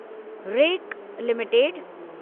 rake limited